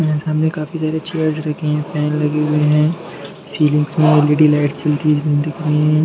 यहाँ सामने काफी सारे चेयर रखे है फैन लगे हुए हैं सीलिंग में एलईडी लाइट जलती हुई दिख रही हैं।